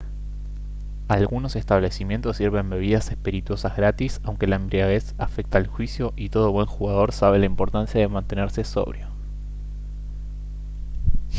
algunos establecimientos sirven bebidas espirituosas gratis aunque la embriaguez afecta el juicio y todo buen jugador sabe la importancia de mantenerse sobrio